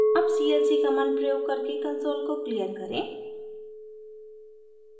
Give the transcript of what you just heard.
अब clc command प्रयोग करके कंसोल को क्लियर करें